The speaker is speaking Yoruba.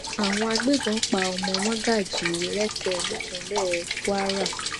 àwọn agbébọn pa ọmọ mágájí rẹkẹ nípínlẹ kwara